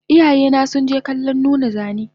Iyayena sunje kallon nuna zane